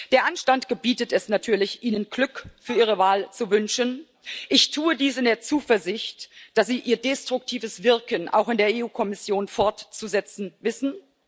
Der Anstand gebietet es natürlich, Ihnen Glück für Ihre Wahl zu wünschen. Ich tue dies in der Zuversicht, dass Sie Ihr destruktives Wirken auch in der EU Kommission fortzusetzen wissen.